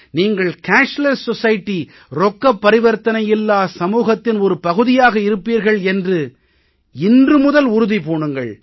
நீங்கள் ரொக்கப் பரிவர்த்தனை இல்லாத சமூகத்தின் ஒரு பகுதியாக இருப்பீர்கள் என்று இன்று முதல் உறுதி பூணுங்கள்